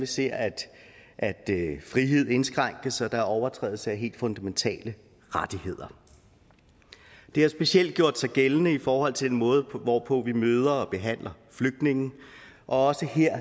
ser at frihed indskrænkes og der overtrædes helt fundamentale rettigheder det har specielt gjort sig gældende i forhold til den måde hvorpå vi møder og behandler flygtninge og også her